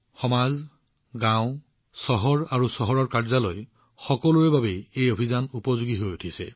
সমাজৰ লগতে গাওঁ চহৰ আৰু আনকি কাৰ্যালয়তো আনকি দেশৰ বাবেও এই অভিযান সকলো ধৰণে উপযোগী প্ৰমাণিত হৈছে